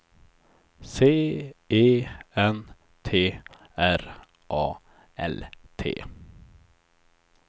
C E N T R A L T